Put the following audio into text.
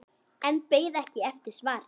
En beið ekki eftir svari.